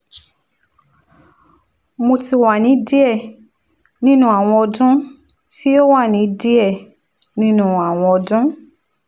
mo ti wa ni diẹ ninu awọn ọdun ti o wa ni diẹ ninu awọn ọdun